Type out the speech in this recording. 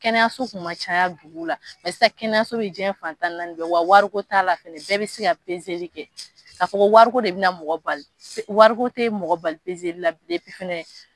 Kɛnɛyaso kun ma caya dugu la sisan kɛnɛyaso bɛ diɲɛ fan tan ni naani bɛɛ wa wariko t'a la fɛnɛ bɛɛ bɛ se ka kɛ ka fɔ wariko de bɛna mɔgɔ bali, wariko tɛ mɔgɔ bali fɛnɛ.